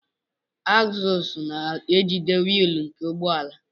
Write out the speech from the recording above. Agzụls na-ejide wiili nke ụgbọala.